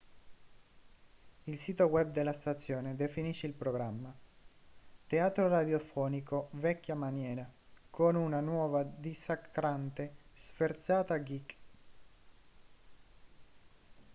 il sito web della stazione definisce il programma teatro radiofonico vecchia maniera con una nuova e dissacrante sferzata geek